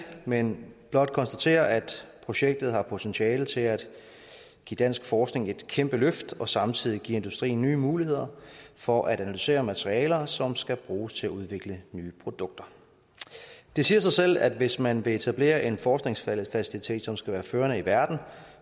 men blot konstatere at projektet har potentiale til at give dansk forskning et kæmpe løft og samtidig give industrien nye muligheder for at analysere materialer som skal bruges til at udvikle nye produkter det siger sig selv at hvis man vil etablere en forskningsfacilitet som skal være førende i verden